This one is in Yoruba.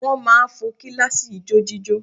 Wọ́n máa fo kíláàsì ijójíjó